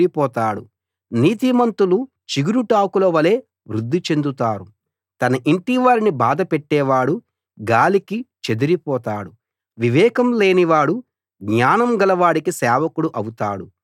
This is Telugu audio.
తన ఇంటివారిని బాధపెట్టేవాడు గాలికి చెదిరి పోతాడు వివేకం లేనివాడు జ్ఞానం గలవాడికి సేవకుడు అవుతాడు